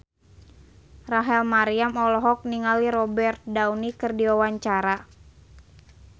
Rachel Maryam olohok ningali Robert Downey keur diwawancara